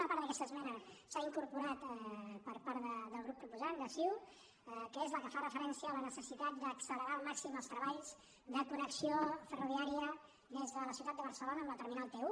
una part d’aquesta esmena s’ha incorporat per part del grup proposant de ciu que és la que fa referència a la necessitat d’accelerar al màxim els treballs de connexió ferroviària des de la ciutat de barcelona amb la terminal t un